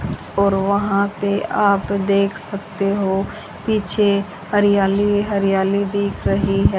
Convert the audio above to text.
और वहां पे आप देख सकते हो पीछे हरियाली हरियाली दिख रही है।